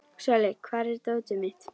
Sóli, hvar er dótið mitt?